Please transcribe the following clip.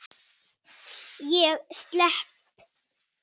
Ég slepp.